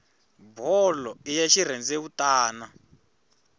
bolo i ya xirhendewutani